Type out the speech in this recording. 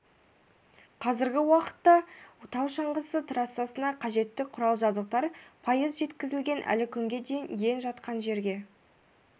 қазіргі уақытта тау шаңғысы трассасына қажетті құрал-жабдықтар пайыз жеткізілген әлі күнге дейін иен жатқан жерге